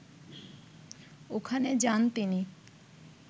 ওখানে যান তিনি